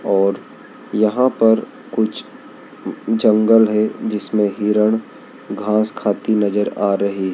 और यहां पर कुछ जंगल है जिसमें हिरण घास खाती नजर आ रही--